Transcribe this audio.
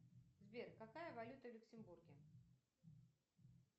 сбер какая валюта в люксембурге